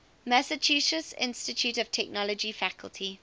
massachusetts institute of technology faculty